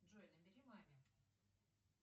джой набери маме